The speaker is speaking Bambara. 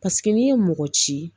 Paseke n'i ye mɔgɔ ci